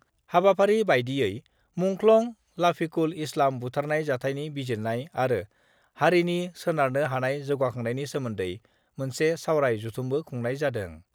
हाबाफारि बायदियै मुंख्लं लाफिकुल इस्लाम बुथारनाय जाथायनि बिजिरनाय आरो हारिनि सोनारनो हानाय जौगाखांनायनि सोमोन्दै मोनसे सावराय जथुमबो खुंनाय जादों।